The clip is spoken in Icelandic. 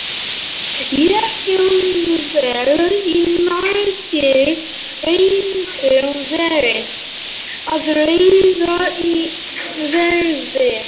Jafnvel í myrkri reyndu þeir að ráða í veðrið.